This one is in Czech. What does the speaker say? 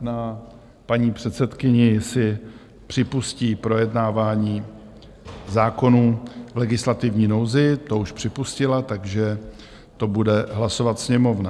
na paní předsedkyni, jestli připustí projednávání zákonů v legislativní nouzi - to už připustila - takže to bude hlasovat Sněmovna.